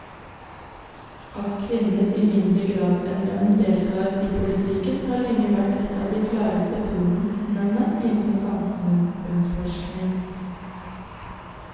At kvinner i mindre grad enn menn deltar i politikken har lenge vært et av de aller klareste funnene innenfor samfunnsforskningen.